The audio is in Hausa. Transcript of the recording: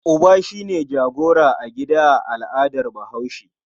Uba shi ne jagora a gida a al'adar Bahaushe.